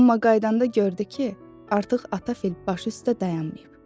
Amma qayıdanda gördü ki, artıq ata fil başı üstə dayanmayıb.